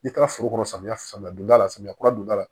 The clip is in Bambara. N'i taara foro samiya samiya don da la samiya kura donda la